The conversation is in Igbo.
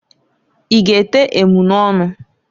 I ga ete emunọnụ?